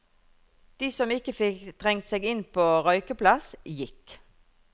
De som ikke fikk trengt seg inn på røykeplass, gikk.